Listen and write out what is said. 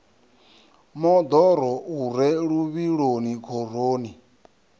moḓoro u re luvhiloni khoroni